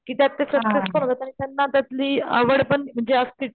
कि त्यात ते सक्सेसफुल होतात आणि त्यांना त्यातली आवड पण म्हणजे असतीस,